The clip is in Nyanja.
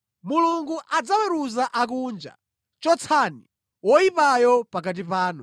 Mulungu adzaweruza akunja. “Chotsani woyipayo pakati panu.”